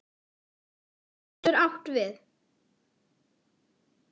Skrá getur átt við